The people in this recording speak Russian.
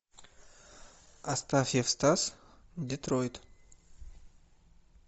астафьев стас детройт